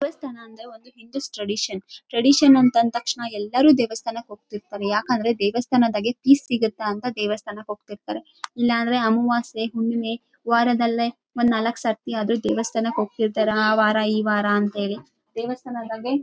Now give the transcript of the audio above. ದೇವಸ್ಥಾನ ಅಂದ್ರೆ ಒಂದು ಹಿಂದುಸ್ ಟ್ರೆಡೀಶನ್‌ ಟ್ರೆಡೀಶನ್‌ ಅಂತಂದ್‌ ತಕ್ಷಣ ಎಲ್ಲರೂ ದೇವಸ್ಥಾನಕ್ಕೆ ಹೋಗ್ತಿರ್ತಾರೆ ‌ಯಾಕಂದ್ರೆ ದೇವಸ್ಥಾನದಾಗೆ ಪೀಸ್‌ ಸಿಗುತ್ತಾ ಅಂತ ದೇವಸ್ಥಾನಕ್ಕೋಗ್ತಿರ್ತಾರೆ ಇಲ್ಲಾಂದ್ರೆ ಅಮವಾಸ್ಯೆ ಹುಣ್ಣಿಮೆ ವಾರದಲ್ಲೆ ಒಂದು ನಾಲಕ್ಕ್ಸತಿ ಅದು ದೇವಸ್ಥಾನಕ್ಕೆ ಹೋಗ್ತಿರ್ತಾರೆ ಆ ವಾರ ಈವಾರ ಅಂತೇಳಿ ದೇವಸ್ಥಾನದಾಗೆ.